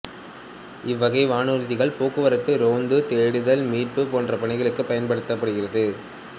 இவ்வகை வானூர்திகள் போக்குவரத்து ரோந்து தேடுதல் மீட்பு போன்ற பணிகளுக்குப் பயன்படுகிறது